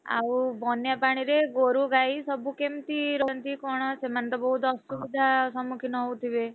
ଆଉ ବନ୍ୟା ପାଣିରେ ଗୋରୁଗାଈ ସବୁ କେମତି ରହନ୍ତି କଣ ସେମାନେ ତ ବହୁତ୍ ଅସୁବିଧା ସମ୍ମୁଖୀନ ହଉଥିବେ?